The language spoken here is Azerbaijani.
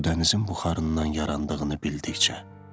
bu dənizin buxarından yarandığını bildikcə.